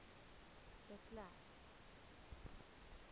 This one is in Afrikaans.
de klerk